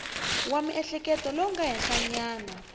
wa miehleketo lowu nga henhlanyana